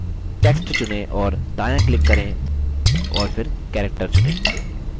text चुनें और दायाँclick करें और फिर character चुनें